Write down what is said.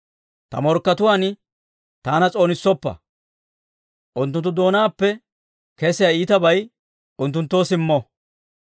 Ta morkkatuwaan taana s'oonissoppa; unttunttu doonaappe kesiyaa iitabay unttunttoo simmo.